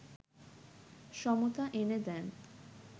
সমতা এনে দেন